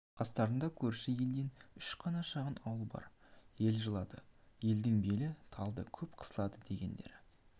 қастарында көрші елден үш қана шағын ауыл бар ел жылады елдің белі талды көп қысылды дегендері